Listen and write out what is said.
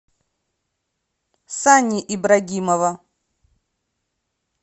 сани ибрагимова